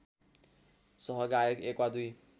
सहगायक एक वा दुई